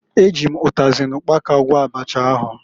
E ji m ụtazị na ụkpaka gwọọ abacha ahụ.